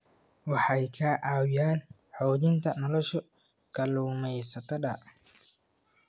Waxay ka caawiyaan xoojinta nolosha kalluumaysatada.